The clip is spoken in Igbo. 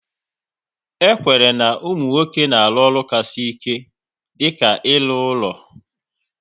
E kwenyere na ụmụ nwoke na-arụ ọrụ ka sị ike dịka ịrụ ụlọ